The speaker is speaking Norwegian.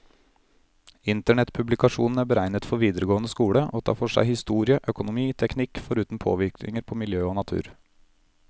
Internettpublikasjonen er beregnet for videregående skole, og tar for seg historie, økonomi, teknikk, foruten påvirkninger på miljø og natur.